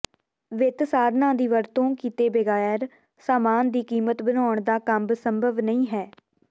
ਵਿੱਤ ਸਾਧਨਾਂ ਦੀ ਵਰਤੋਂ ਕੀਤੇ ਬਗੈਰ ਸਾਮਾਨ ਦੀ ਕੀਮਤ ਬਣਾਉਣ ਦਾ ਕੰਮ ਸੰਭਵ ਨਹੀਂ ਹੈ